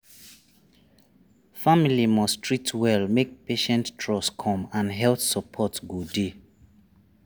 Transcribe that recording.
family must treat well make patient trust come and health support go dey.